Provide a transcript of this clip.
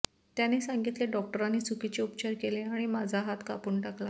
त्याने सांगितले डॉक्टरांनी चुकीचे उपचार केले आणि माझा हात कापून टाकला